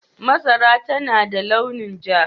Masara tana da launin ja.